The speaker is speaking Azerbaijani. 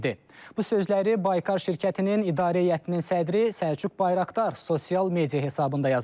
Bu sözləri Baykar şirkətinin idarə heyətinin sədri Səlcuq Bayraqdar sosial media hesabında yazıb.